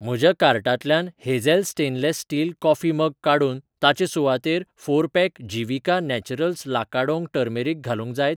म्हज्या कार्टांतल्यान Hazel stainless steel coffee mug काडून ताचे सुवातेर four pack Jeevika Naturals Lakadong turmeric घालूंक जायत?